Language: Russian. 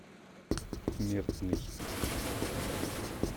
смертный